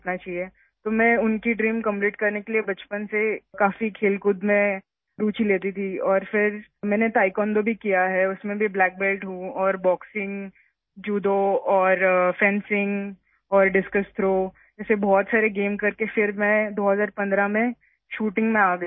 اس لیے ان کے خواب کو پورا کرنے کے لیے میں بچپن سے ہی کھیلوں میں بہت دلچسپی لیتی تھی اور پھر میں نے تائیکوانڈو بھی کیا، اس میں بھی میں بلیک بیلٹ ہوں، اور باکسنگ، جوڈو، فینسنگ اور ڈسکس تھرو جیسے کئی کھیل کرنے کے بعد ، پھر 2015 ء میں شوٹنگ میں آ گئی